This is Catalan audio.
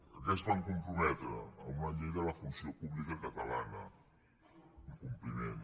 a què es van comprometre a una llei de la funció pú·blica catalana incompliment